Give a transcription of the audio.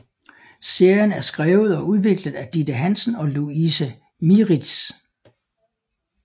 Serien er skrevet og udviklet af Ditte Hansen og Louise Mieritz